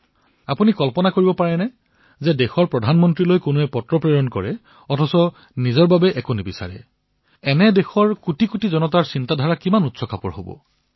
আপোনালোকে কল্পনা কৰিব পাৰে দেশৰ প্ৰধানমন্ত্ৰীলৈ কোনোবাই চিঠি লিখিছে কিন্তু নিজৰ বাবে একো বিচৰা নাই এয়া দেশৰ কোটি কোটি লোকৰ ভাবনা কিমান উচ্চ হব